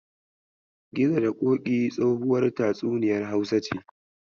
Gizo da Ƙoƙi tsohuwar tatsuniyar Hausa ce.